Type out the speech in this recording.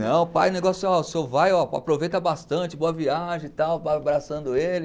Não, pai, o negócio ó, o senhor vai ó, aproveita bastante, boa viagem e tal, vai abraçando ele.